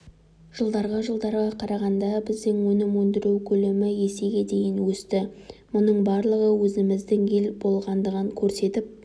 жылдарға жылдарға қарағанда біздің өнім өндіру көлемі есеге дейін өсті мұның барлығы өзіміздің ел болғандығын көрсетіп